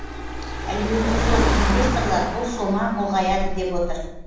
әлеуеті зор инвесторлар бұл сома ұлғаяды деп отыр